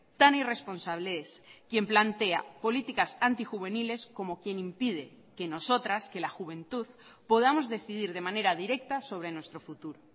tan irresponsable es quien plantea políticas antijuveniles como quien impide que nosotras que la juventud podamos decidir de manera directa sobre nuestro futuro